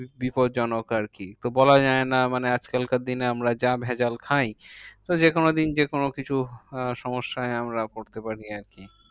বিপদজনক আরকি। তো বলা যায়না আজকালকার দিনে আমরা যা ভেজাল খাই, তো যেকোনো দিন যেকোনো কিছু আহ সমস্যায় আমরা পড়তে পারি আরকি।